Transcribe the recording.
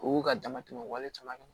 U ka dama tɛmɛ o wale caman kan